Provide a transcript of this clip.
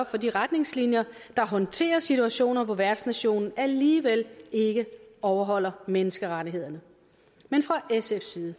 for de retningslinjer der håndterer situationer hvor værtsnationen alligevel ikke overholder menneskerettighederne men fra sfs side